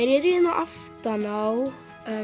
aftan á